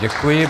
Děkuji.